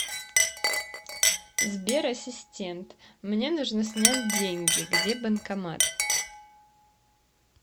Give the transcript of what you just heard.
сбер ассистент мне нужно снять деньги где банкомат